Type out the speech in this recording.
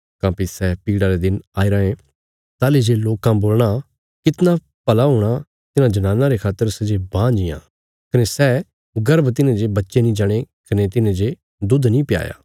काँह्भई सै पीड़ा रे दिन आई रायें ताहली जे लोकां बोलणा कितणा भला हूणा तिन्हां जनानां रे खातर सै जे बांझ इयां कने सै गर्भ तिन्हें जे बच्चे नीं जणे कने तिन्हें जे दुध नीं प्याया